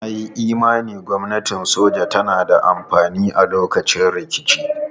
Na yi imanin gwamnatin soja tana da amfani a lokacin rikici.